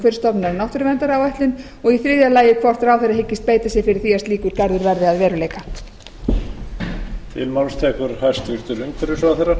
umhverfisstofnunar um náttúruverndaráætlun og í þriðja lagi hvort ráðherrann hyggist beita sér fyrir því að slíkur garður verði að veruleika